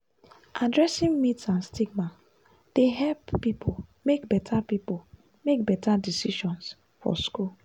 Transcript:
addressing myths and stigma dey help pipo make better pipo make better decisions for school.